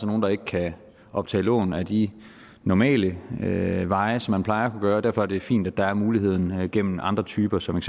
nogle der ikke kan optage lån ad de normale normale veje som man plejer at gøre så derfor er det fint at der er muligheden gennem andre typer som